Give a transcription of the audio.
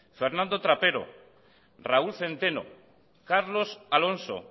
fernando trapero raúl centeno carlos alonso